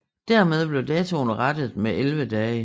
Dermed blev datoen rettet med 11 dage